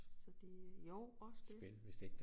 Så det jo også det